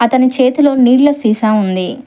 అతని చేతిలో నీళ్ళ సీసా ఉంది.